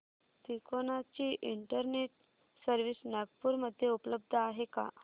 तिकोना ची internet service Nagpur मध्ये उपलब्ध आहे का